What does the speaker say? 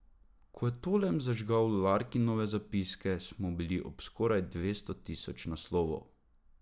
Ko je Tolem zažgal Larkinove zapiske, smo bili ob skoraj dvesto tisoč naslovov.